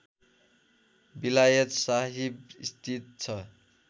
विलायत साहिब स्थित छ